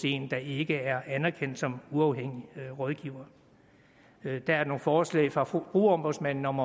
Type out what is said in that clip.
en der ikke er anerkendt som uafhængig rådgiver der er nogle forslag fra forbrugerombudsmanden om